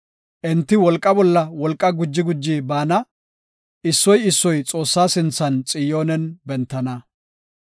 Enti wolqa bolla wolqa guji guji baana; issoy issoy Xoossa sinthan Xiyoonen bentana.